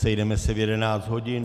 Sejdeme se v 11 hodin.